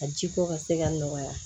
A jiko ka se ka nɔgɔya